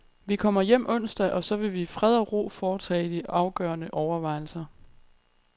Vi kommer hjem onsdag, og så vil vi i fred og ro foretage de afgørende overvejelser.